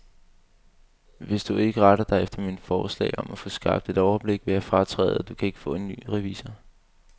Hvis du ikke retter dig efter mine forslag om at få skabt et overblik, vil jeg fratræde, og du kan ikke få en ny revisor.